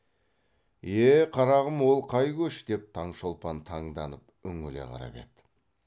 е қарағым ол қай көш деп таңшолпан таңданып үңіле қарап еді